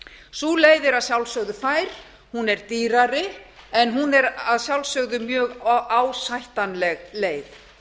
sú leið er að sjálfsögðu fær hún er dýrari en hún er að sjálfsögðu mjög ásættanleg leið